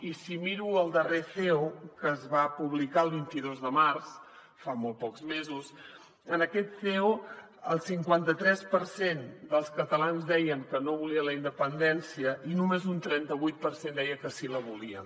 i si miro el darrer ceo que es va publicar el vint dos de març fa molt pocs mesos en aquest ceo el cinquanta tres per cent dels catalans deien que no volien la independència i només un trenta vuit per cent deia que sí que la volien